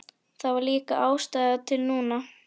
Það var líka ástæða til núna.